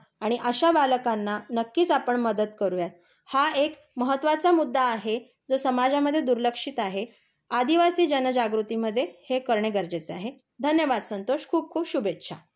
आणि अशा बालकांना नक्कीच आपण मदत करू या. हा एक महत्तवाचा मुद्दा आहे. जो समाजामध्ये दुर्लक्षित आहे. आदिवासी जनजागृतीमध्ये हे करणे गरजेचे आहे.धन्यवाद संतोष. खूप खूप शुभेच्छा.